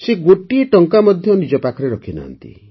ସେ ଗୋଟିଏ ଟଙ୍କା ମଧ୍ୟ ନିଜ ପାଖରେ ରଖିନାହାନ୍ତି